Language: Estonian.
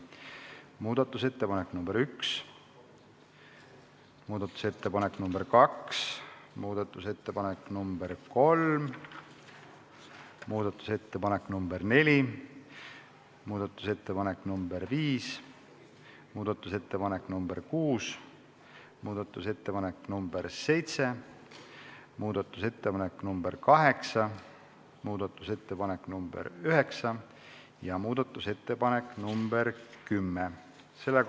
Muudatusettepanek nr 1, muudatusettepanek nr 2, muudatusettepanek nr 3, muudatusettepanek nr 4, muudatusettepanek nr 5, muudatusettepanek nr 6, muudatusettepanek nr 7, muudatusettepanek nr 8, muudatusettepanek nr 9 ja muudatusettepanek nr 10.